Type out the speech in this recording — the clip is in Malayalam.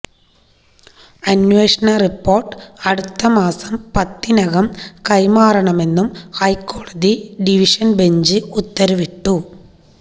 അന്വേഷണ റിപോര്ട്ട് അടുത്ത മാസം പത്തിനകം കൈമാറണമെന്നും ഹൈക്കോടതി ഡിവിഷന്ബഞ്ച് ഉത്തരവിട്ടു